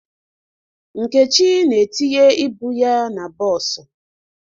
Nkechi na-etinye ibu ya na bọọsụ.